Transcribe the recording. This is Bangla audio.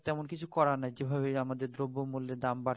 তেমন কিছু করার নাই যেভাবে আমাদের দ্রব্য মূল্যের দাম